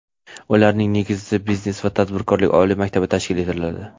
ularning negizida Biznes va tadbirkorlik oliy maktabi tashkil etiladi.